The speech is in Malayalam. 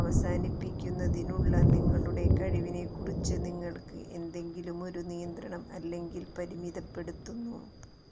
അവസാനിപ്പിക്കുന്നതിനുള്ള നിങ്ങളുടെ കഴിവിനെക്കുറിച്ച് നിങ്ങൾക്ക് ഏതെങ്കിലുമൊരു നിയന്ത്രണം അല്ലെങ്കിൽ പരിമിതപ്പെടുത്തുന്നു